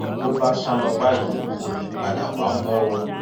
bó bá sá lọ báyìí kò ní í padà wá mọ o